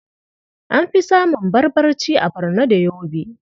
An fi samun Barbarci a Barno da Yobe.